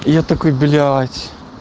и я такой блять